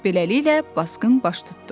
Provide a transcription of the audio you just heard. Beləliklə basqın baş tutdu.